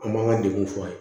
An b'an ka degun f'a ye